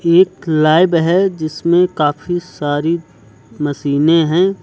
एक लैब है जिसमें काफी सारी मशीनें हैं।